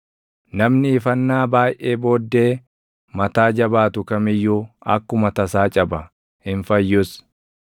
Namni ifannaa baayʼee booddee mataa jabaatu kam iyyuu akkuma tasaa caba; hin fayyus.